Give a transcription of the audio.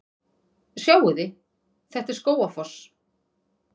Sjáiði! Þetta er Skógafoss.